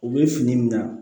U bɛ fini min na